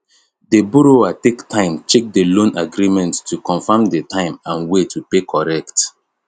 the borrower take time check the loan agreement to confirm the time and way to pay correct